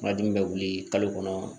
Kuma dimi bɛ wuli kalo kɔnɔ